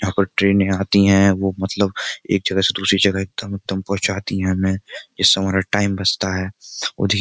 यहाँ पर ट्रेनें आती हैं वो मतलब एक जगह से दूसरी जगह एकदम एकदम पहुंचाती हैं हमें जिससे हमारा टाइम बचता है वो --